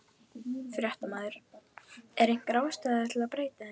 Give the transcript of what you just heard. Fréttamaður: Er einhver ástæða til að breyta þeim?